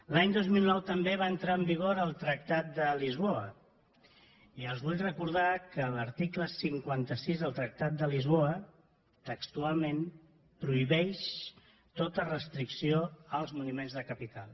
l’any dos mil nou també va entrar en vigor el tractat de lisboa i els vull recordar que l’article cinquanta sis del tractat de lisboa textualment prohibeix tota restricció als moviments de capital